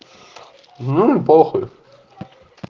ну и похуй